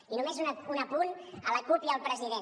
i només un apunt a la cup i al president